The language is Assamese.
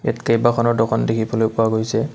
ইয়াত কেইবাখনো দোকান দেখিবলৈ পোৱা গৈছে।